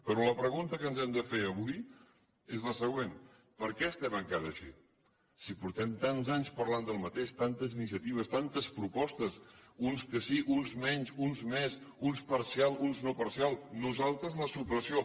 però la pregunta que ens hem de fer avui és la següent per què estem encara així si portem tants anys parlant del mateix tantes iniciatives tantes propostes uns que sí uns menys uns més uns parcial uns no parcial nosaltres la supressió